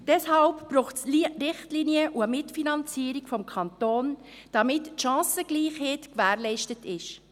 Deshalb braucht es Richtlinien und eine Mitfinanzierung des Kantons, damit die Chancengleichheit gewährleistet ist.